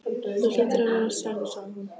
Þú hlýtur að vera særður sagði hún.